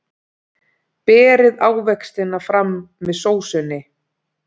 Berið ávextina fram með sósunni.